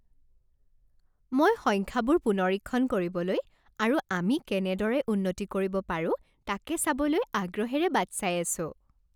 মই সংখ্যাবোৰ পুনৰীক্ষণ কৰিবলৈ আৰু আমি কেনেদৰে উন্নতি কৰিব পাৰো তাকে চাবলৈ আগ্ৰহেৰে বাট চাই আছোঁ।